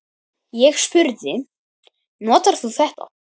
Ég spurði: Notar þú þetta?